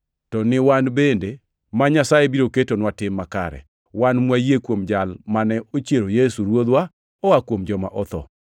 to ni wan bende, ma Nyasaye biro ketonwa tim makare, wan mwayie kuom Jal mane ochiero Yesu Ruodhwa oa kuom joma otho.